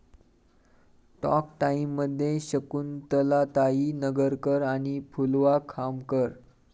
talk टाइममध्ये शकुंतलाताई नगरकर आणि फुलवा खामकर